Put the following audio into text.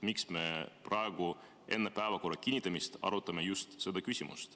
Miks me arutame seda küsimust praegu, enne päevakorra kinnitamist?